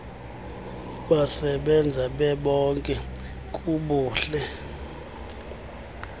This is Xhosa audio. besebenza bebonke kubuhle